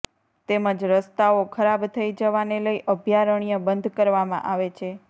તેમજ રસ્તાઓ ખરાબ થઇ જવાને લઇ અભયારણ્ય બંધ કરવામાં આવે છે